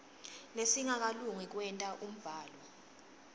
lesingakalungi kwenta umbhalo